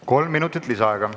Kolm minutit lisaaega.